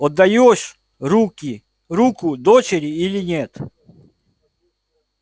отдаёшь руки руку дочери или нет